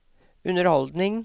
underholdning